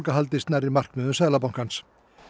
haldist nærri markmiðum Seðlabankans